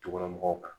Tukɔnɔmɔgɔw kan